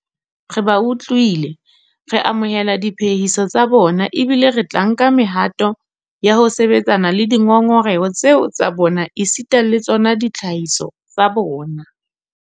Re ba utlwile, re amohela diphehiso tsa bona ebile re tla nka mehato ya ho sebetsana le dingongoreho tseo tsa bona esita le tsona ditlhahiso tsa bona.